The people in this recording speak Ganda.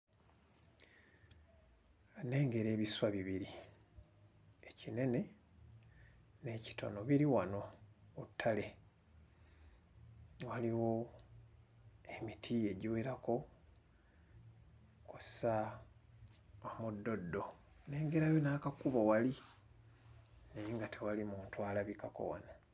Nnengera ebiswa bibiri ekinene n'ekitono biri wano ku ttale waliwo emiti egiwerako kw'ossa omuddoddo nnengerayo n'akakubo wali naye nga tewali muntu alabikako wano.